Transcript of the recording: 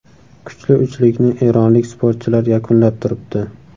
Kuchli uchlikni eronlik sportchilar yakunlab turibdi.